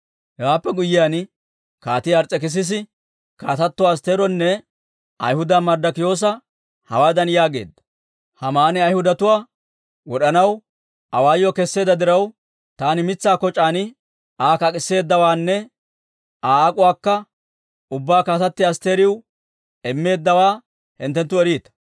Hewaappe guyyiyaan, Kaatii Ars's'ekissisi, Kaatatto Astteeronne Ayhudaa Marddikiyoosa hawaadan yaageedda; «Haamani Ayhudatuwaa wod'anaw awaayuwaa kesseedda diraw, taani mitsaa koc'aan Aa kak'isseeddawaanne Aa ak'uwaakka ubbaa Kaatatti Asttiriw immeeddawaa hinttenttu eriita.